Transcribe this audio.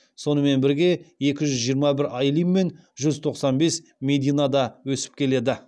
сонымен бірге екі жүз жиырма бір айлин мен жүз тоқсан бес медина да өсіп келеді